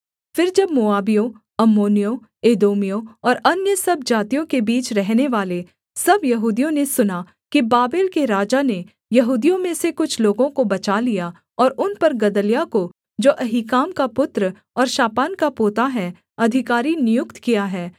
फिर जब मोआबियों अम्मोनियों एदोमियों और अन्य सब जातियों के बीच रहनेवाले सब यहूदियों ने सुना कि बाबेल के राजा ने यहूदियों में से कुछ लोगों को बचा लिया और उन पर गदल्याह को जो अहीकाम का पुत्र और शापान का पोता है अधिकारी नियुक्त किया है